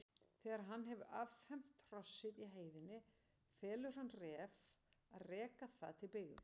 Þegar hann hefur affermt hrossið í heiðinni felur hann Ref að reka það til byggða.